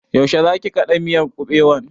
Yaushe zaki kaɗa miyar kuɓewan?